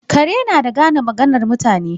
Kare na da gane maganar mutane.